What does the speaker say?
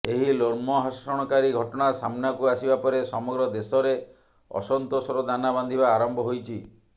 ଏହି ଲୋମହର୍ଷଣକାରୀ ଘଟଣା ସାମ୍ନାକୁ ଆସିବା ପରେ ସମଗ୍ର ଦେଶରେ ଅସନ୍ତୋଷର ଦାନା ବାନ୍ଧିବା ଆରମ୍ଭ ହୋଇଛି